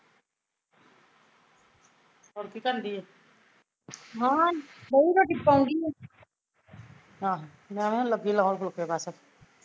ਹੋਰ ਕੀ ਕਰਣਦੀ ਏ ਆਹੋ ਮੈਂ ਵੀ ਲੱਗੀ ਫੁਲਕੇ ਲਾਉਣ ਬਸ